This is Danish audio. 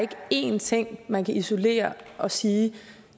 én ting man kan isolere og sige